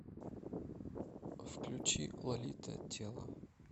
включи лолита тело